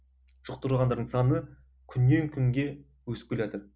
жұқтырғандардың саны күннен күнге өсіп келатыр